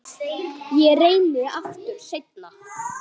Ég reyni aftur seinna